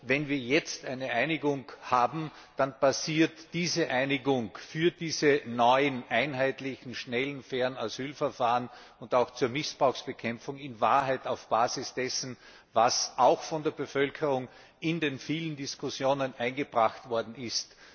Wenn wir jetzt eine Einigung haben, dann basiert diese Einigung für diese neuen einheitlichen, schnellen und fairen Asylverfahren und auch zur Missbrauchsbekämpfung in Wahrheit darauf, was auch von der Bevölkerung in den vielen Diskussionen eingebracht worden ist.